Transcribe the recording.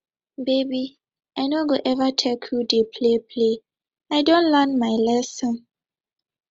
baby i no go eva take you dey playplay i don learn my lesson